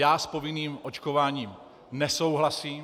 Já s povinným očkováním nesouhlasím.